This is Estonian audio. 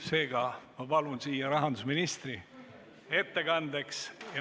Seega, ma palun siia rahandusministri ettekandeks.